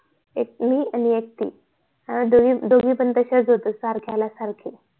एक मी आणि एक ती आम्ही दोघी दोघी पण तश्याच होतो सारख्याला सारखे